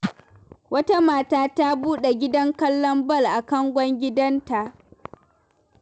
Wata mata ta buɗe gidan kallon bal a kangon gidanta